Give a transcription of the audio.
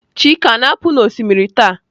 chike a na-apu n'osimiri taa?